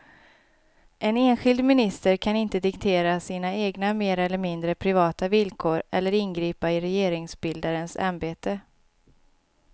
En enskild minister kan inte diktera sina egna mer eller mindre privata villkor eller ingripa i regeringsbildarens ämbete.